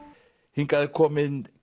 hingað er kominn